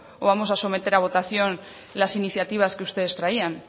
o vamos a someter a votación las iniciativas que ustedes traían